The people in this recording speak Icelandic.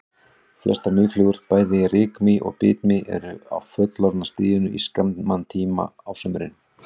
Flestar mýflugur, bæði rykmý og bitmý eru á fullorðna stiginu í skamman tíma á sumrin.